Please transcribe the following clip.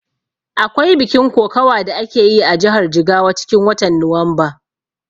Akwai bikin kokawa da akeyi a jihar Jigawa cikin watan Nuwamba